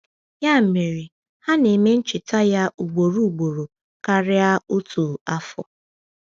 Ya mere, ha na-eme ncheta ya ugboro ugboro karịa otu afọ.